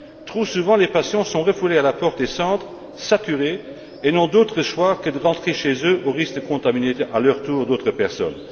Trop souvent, les patients sont refoulés à la porte des centres saturés et n'ont d'autre choix que de rentrer chez eux au risque de contaminer, à leur tour, d'autres personnes.